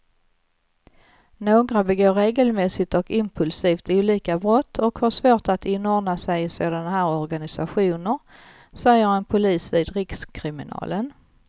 Några begår regelmässigt och impulsivt olika brott och har svårt att inordna sig i såna här organisationer, säger en polis vid rikskriminalen.